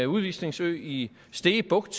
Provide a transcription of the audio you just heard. udvisningsø i stege bugt